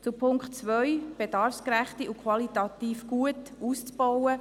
Zum Punkt 2, die familienergänzende Kinderbetreuung bedarfsgerecht und qualitativ gut auszubauen: